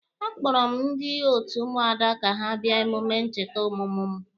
A kpọrọ m ndị otu Ụmụada ka ha bịa emume ncheta ọmụmụ mụ.